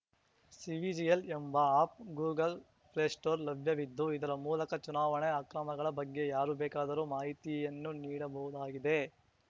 cVIGIL ಎಂಬ app Google play ಸ್ಟೋರ್‌ಲ್ಲಿ ಲಭ್ಯವಿದ್ದು ಇದರ ಮೂಲಕ ಚುನಾವಣೆ ಅಕ್ರಮಗಳ ಬಗ್ಗೆ ಯಾರು ಬೇಕಾದರೂ ಮಾಹಿತಿಯನ್ನು ನೀಡಬಹುದಾಗಿದೆ